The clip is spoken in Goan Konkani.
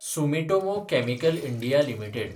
Sumitomo chemical India limited